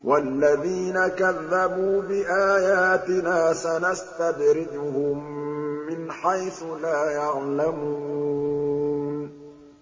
وَالَّذِينَ كَذَّبُوا بِآيَاتِنَا سَنَسْتَدْرِجُهُم مِّنْ حَيْثُ لَا يَعْلَمُونَ